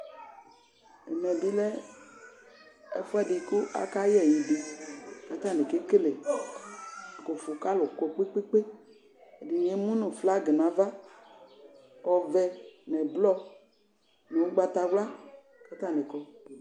Ɛmɛ ɓɩ lɛ ɛfʊɛdɩ ƙa ƙaƴɛ ɛƴɩ ƙataŋɩ ƙeƙele ƙʊfo kalʊ ƙɔ ƙpeƙpe Ɛdɩŋɩ emʊ ŋʊ flag ŋaʋa ɔʋɛ ŋʊ ʊɓlɔɔ, ŋʊ ʊgbatawla